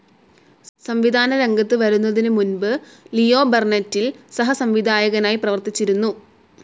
സംവിധാനരംഗത്ത് വരുന്നതിനുമുമ്പ് ലിയോ ബർണറ്റിൽ സഹസംവിധായികയായി പ്രവർത്തിച്ചിരുന്നു.